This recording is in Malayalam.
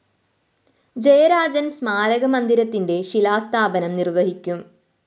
ജയരാജന്‍ സ്‌മാരക മന്ദിരത്തിന്റെ ശിലാസ്ഥാപനം നിര്‍വ്വഹിക്കും